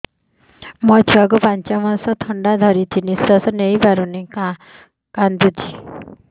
ମୋ ଛୁଆକୁ ପାଞ୍ଚ ମାସ ଥଣ୍ଡା ଧରିଛି ନିଶ୍ୱାସ ନେଇ ପାରୁ ନାହିଁ କାଂଦୁଛି